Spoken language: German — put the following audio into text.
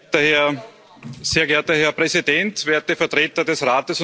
Sehr geehrter Herr Präsident, werte Vertreter des Rates und der Kommission.